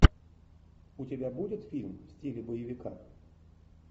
у тебя будет фильм в стиле боевика